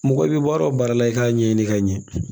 Mɔgɔ i bɛ baara o baara la i k'a ɲɛɲini ka ɲɛ